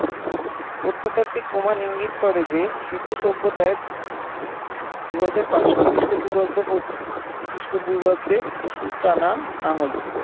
প্রত্নতাত্ত্বিক প্রমাণ ইঙ্গিত করে যে সিন্ধু সভ্যতায় দুই হাজার পাঁচশ খ্রিস্টপূর্বাব্দ পর্য খ্রিস্টপূর্বাব্দের পশু-টানা লাঙ্গল ছিল